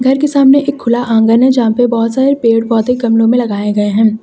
अंदर के सामने एक खुला आंगन है जहां पे बहुत सारे पेड़ पौधे गमलो में लगाए हुए हैं।